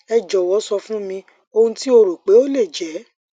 ẹ jọwọ sọ fun mi ohun ti o ro pe o le jẹ